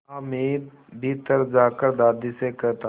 हामिद भीतर जाकर दादी से कहता